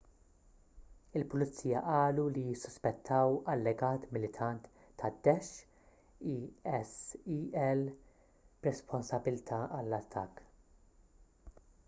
il-pulizija qalu li jissuspettaw allegat militant tad-daesh isil b’responsabbiltà għall-attakk